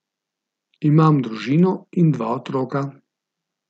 Imam družino in dva otroka.